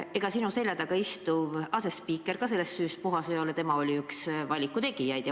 Ega sinu selja taga istuv asespiiker ka sellest süüst puhas ei ole, tema oli üks valiku tegijaid.